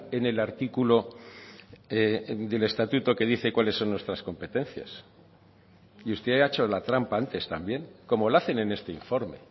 en el artículo del estatuto que dice cuáles son nuestras competencias y usted ha hecho la trampa antes también como lo hacen en este informe